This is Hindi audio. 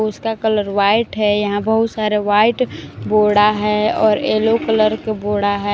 उसका कलर वाइट है यहां बहुत सारा वाइट बोड़ा है और येलो कलर के बोड़ा है।